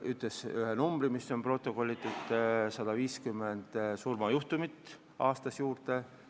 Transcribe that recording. Ta ütles ühe konkreetse numbri: 150 surmajuhtumit aastas juurde.